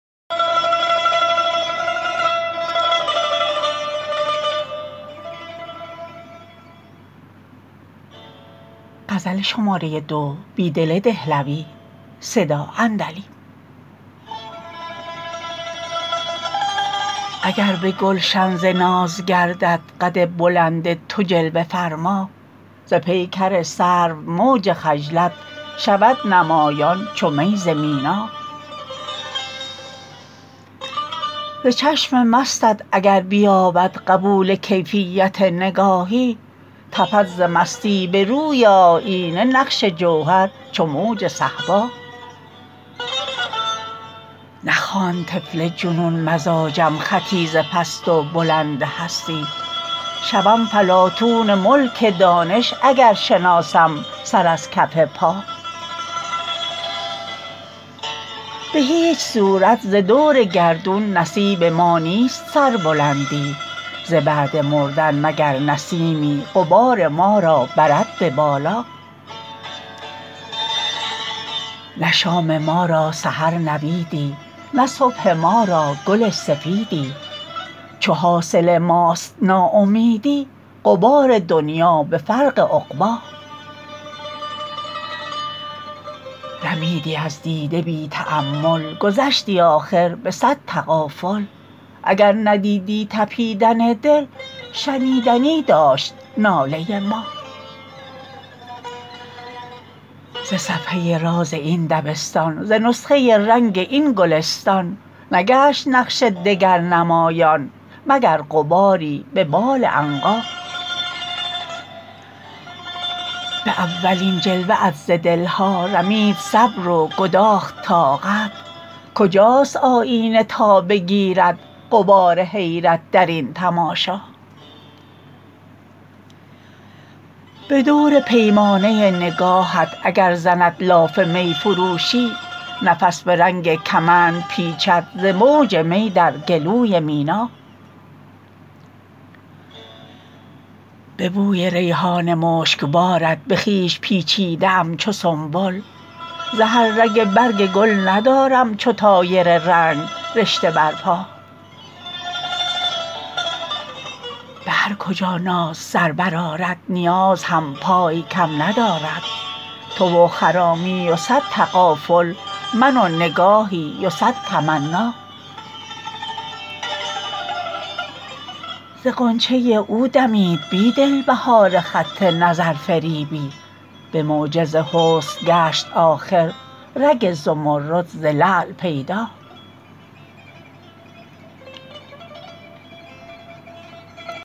اگر به گلشن ز ناز گردد قد بلند تو جلوه فرما ز پیکر سرو موج خجلت شود نمایان چو می ز مینا ز چشم مستت اگر بیابد قبول کیفیت نگاهی تپد ز مستی به روی آیینه نقش جوهر چو موج صهبا نخواند طفل جنون مزاجم خطی ز پست و بلند هستی شوم فلاطون ملک دانش اگر شناسم سر از کف پا به هیچ صورت ز دور گردون نصیب ما نیست سربلندی ز بعد مردن مگر نسیمی غبار ما را برد به بالا نه شام ما را سحر نویدی نه صبح ما را گل سفیدی چو حاصل ماست ناامیدی غبار دنیا به فرق عقبا رمیدی از دیده بی تأمل گذشتی آخر به صد تغافل اگر ندیدی تپیدن دل شنیدنی داشت ناله ما ز صفحه راز این دبستان ز نسخه رنگ این گلستان نگشت نقش دگر نمایان مگر غباری به بال عنقا به اولین جلوه ات ز دل ها رمید صبر و گداخت طاقت کجاست آیینه تا بگیرد غبار حیرت درین تماشا به دور پیمانه نگاهت اگر زند لاف می فروشی نفس به رنگ کمند پیچد ز موج می در گلوی مینا به بوی ریحان مشک بارت به خویش پیچیده ام چو سنبل ز هر رگ برگ گل ندارم چو طایر رنگ رشته بر پا به هرکجا ناز سر برآرد نیاز هم پای کم ندارد تو و خرامی و صد تغافل من و نگاهی و صد تمنا ز غنچه او دمید بیدل بهار خط نظرفریبی به معجز حسن گشت آخر رگ زمرد ز لعل پیدا